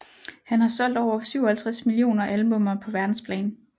Han har solgt over 57 millioner albummer på verdensplan